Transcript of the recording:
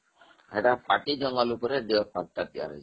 ସେଇଟା ପାର୍ଟୀ ଜଙ୍ଗଲ ଉପରେ deer ପାର୍କଟା ତିଆରି ହେଇଛି